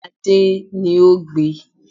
Adé ni o gbe